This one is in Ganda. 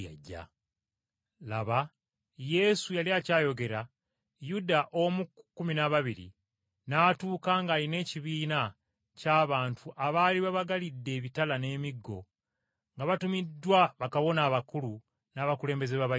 Laba Yesu yali akyayogera Yuda omu ku kkumi n’ababiri, n’atuuka ng’alina ekibiina ky’abantu abaali babagalidde ebitala n’emiggo nga batumiddwa bakabona abakulu n’abakulembeze b’Abayudaaya.